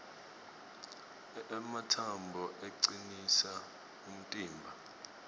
ematsambo acinisa umtimba